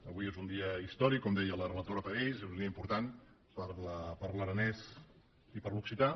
avui és un dia històric com deia la relatora per a ells és un dia important per a l’aranès i per a l’occità